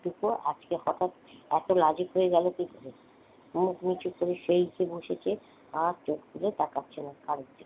টুকু আজকে হঠাৎ এত লাজুক হয়ে গেল কি করে? মুখ নিচু করে সেই যে বসেছে আর চোখে তোলে তাকাচ্ছে না কারো দিকে।